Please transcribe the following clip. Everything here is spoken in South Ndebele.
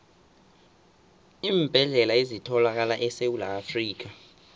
iimbedlela ezithalakala esewula afrikha